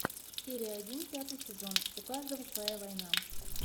серия один пятый сезон у каждого своя война